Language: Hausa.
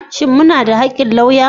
Shin muna da haƙƙin lauya?